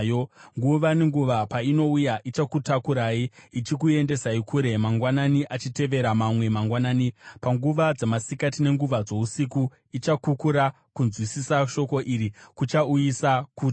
Nguva nenguva painouya ichakutakurai ichikuendesai kure; mangwanani achitevera mamwe mangwanani, panguva dzamasikati nenguva dzousiku, ichakukura.” Kunzwisisa shoko iri kuchauyisa kutya.